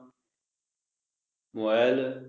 mobile